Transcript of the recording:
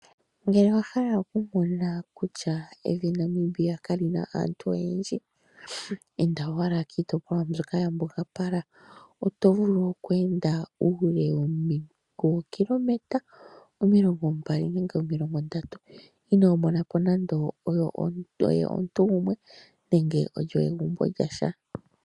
Ngele owa hala okumona kutya evi Namibia kalina aantu oyendji inda owala kiitopolwa mbyoka yambugapala oto vulu okweenda uule wookilometa omilongo mbali nenge omilongo ndatu inoo monapo nando omuntu gumwe nenge egumbo lyasha.